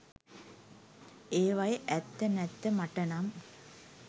ඒවයේ ඇත්ත නැත්ත මටනම්